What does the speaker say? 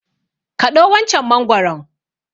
Kaɗo wancan mangwaron!